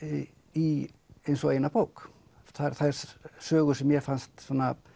í eins og eina bók þær sögur sem mér fannst